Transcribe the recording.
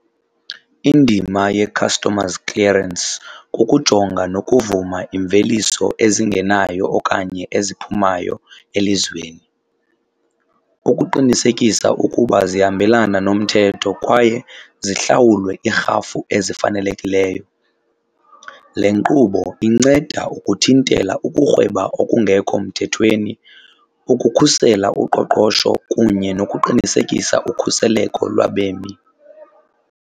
Indima ye-customs clearance kukujonga nokuvuma imveliso ezingenayo okanye eziphumayo elizweni ukuqinisekisa ukuba zihambelana nomthetho kwaye zihlawulwe iirhafu ezifanelekileyo. Le nkqubo inceda ukuthintela ukurhweba okungekho mthethweni, ukukhusela uqoqosho kunye nokuqinisekisa ukhuseleko lwabemi.